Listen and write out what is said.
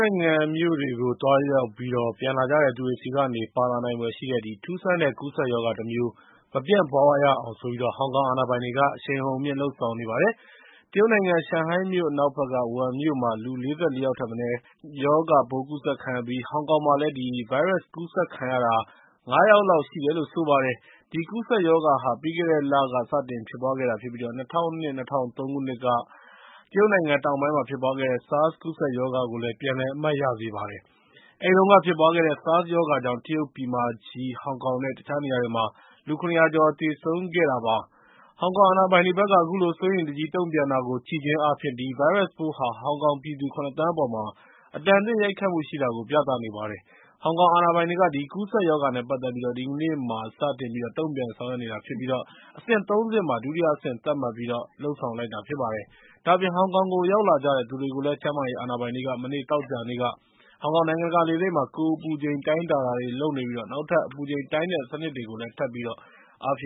နိုင်ငံမြို့တွေကို သွားရောက်ပြီး ပြန်လာကြတဲ့သူတွေဆီကနေ ပါလာနိုင်ဖွယ်ရှိတဲ့ ထူးဆန်းတဲ့ ကူးစက်ရောဂါတမျိုး မပြန့်ပွားရအောင် ဟောင်ကောင် အာဏာပိုင်တွေက အရှိန်အဟုန်မြှင့် လုပ်ဆောင်နေပါတယ်။ တရုတ်နိုင်ငံ ရှန်ဟိုင်းမြို့ အနောက်ဘက်က ဝူဟန်မြို့မှာ လူူ ၄၄ ယောက်ထက်မနည်း အဆုတ်အအေးမိတဲ့ ဗိုင်းရပ်စ်ရောဂါပိုး ကူးစက်ခံခဲ့ရပြီး ဟောင်ကောင်မှာလည်း အဲဒီဗိုင်းရပ်စ်ပိုး ကူးစက်ခံရတာ ၅ ယောက်လောက် ရှိတယ်လို့ ဆိုပါတယ်။ ဒီ ကူးစက်ရောဂါဟာ ပြီးခဲ့တဲ့လက စတင်ဖြစ်ပွားခဲ့တာဖြစ်ပြီး ၂၀၀၂-၂၀၀၃ ခုနှစ်က တရုတ်နိုင်ငံတောင်ပိုင်းမှာ ဖြစ်ပွားခဲ့တဲ့ SARS ကူးစက်ရောဂါကို ပြန်လည် အမှတ်ရစေပါတယ်။ အဲဒီတုန်းက ဖြစ်ပွားခဲ့တဲ့ SARS ရောဂါကြောင့် တရုတ်ပြည်မကြီး၊ ဟောင်ကောင်နဲ့ တခြားနေရာတွေမှာ လူ ၇၀၀ ကျော် သေဆုံးခဲ့တာပါ။ ဟောင်ကောင်အာဏာပိုင်တွေဘက်က အခုလို စိုးရိမ်တကြီး တုံ့ပြန်တာကို ကြည့်ခြင်းအားဖြင့် ဒီဗိုင်းရပ်စ်ပိုးဟာ ဟောင်ကောင်ပြည်သူ ၇ သန်းခွဲအပေါ်မှာ အတန်အသင့် ရိုက်ခတ်မှုရှိတာကို ပြသနေပါတယ်။ ဟောင်ကောင်အာဏာပိုင်တွေက ဒီကူးစက်ရောဂါနဲ့ ပတ်သက်ပြီး ဒီကနေ့မှာ စတင်ပြီးတော့ တုံ့ပြန်ဆောင်ရွက်နေတာဖြစ်ပြီး အဆင့် ၃ ဆင့်မှာ ဒုတိယအဆင့် သတ်မှတ်ပြီးတော့ လုပ်ဆောင်လိုက်တာ ဖြစ်ပါတယ်။ ဒါ့အပြင် ဟောင်ကောင်ကို ရောက်လာကြတဲ့ သူတွေကိုလည်း ကျန်းမာရေးအာဏာပိုင်တွေက မနေ့ သောကြာနေ့က ဟောင်ကောင် နိုင်ငံတကာလေဆိပ်မှာ ကိုယ်အပူချိန် တိုင်းတာတွေ လုပ်နေပြီး နောက်ထပ်လည်း အပူချိန်တိုင်းတဲ့ စနစ်တွေကို ထပ်ပြီး အားဖြ